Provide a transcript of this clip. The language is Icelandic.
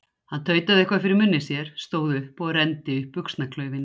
Hann tautaði eitthvað fyrir munni sér, stóð upp og renndi upp buxnaklaufinni.